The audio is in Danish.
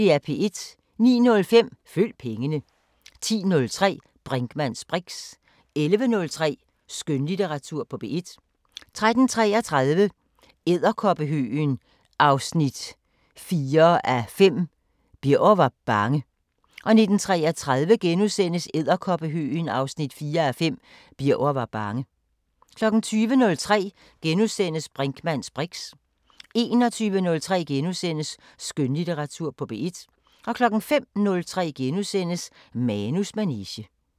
09:05: Følg pengene 10:03: Brinkmanns briks 11:03: Skønlitteratur på P1 13:33: Edderkoppehøgen 4:5 – Birger var bange 19:33: Edderkoppehøgen 4:5 – Birger var bange * 20:03: Brinkmanns briks * 21:03: Skønlitteratur på P1 * 05:03: Manus manege *